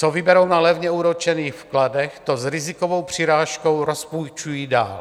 Co vyberou na levně úročených vkladech, to s rizikovou přirážkou rozpůjčují dál.